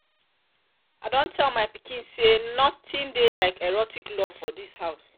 i done tell my pikin say um nothing um dey like erotic love for dis house